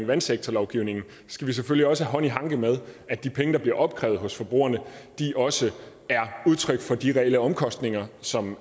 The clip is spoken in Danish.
vandsektorlovgivningen skal vi selvfølgelig også have hånd i hanke med at de penge der bliver opkrævet hos forbrugerne også er udtryk for de reelle omkostninger som